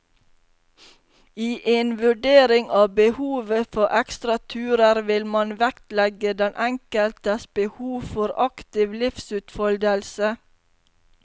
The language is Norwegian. I en vurdering av behovet for ekstra turer vil man vektlegge den enkeltes behov for aktiv livsutfoldelse.